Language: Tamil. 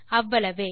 அவ்வளவே